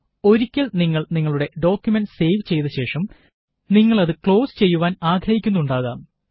ഒരിക്കല് നിങ്ങള് നിങ്ങളുടെ ഡോക്കുമന്റ് സേവ് ചെയ്ത ശേഷം നിങ്ങളത് ക്ളോസ് ചെയ്യുവാന് ആഗ്രഹിക്കുന്നുണ്ടാവണം